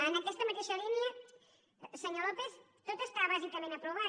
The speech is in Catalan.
en aquesta mateixa línia senyor lópez tot està bàsicament aprovat